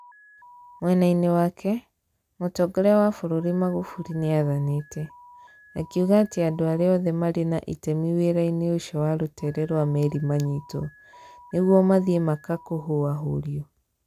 Mwena-inĩ wake, mũtongoria wa bũrũri Magufuli nĩathanĩte. Akiuga atĩ andũ arĩa othe marĩ na itemi wĩra-inĩ ũcio wa rũtere rwa meri manyitwo. Nĩguo mathiĩ maka kũhũahũrio.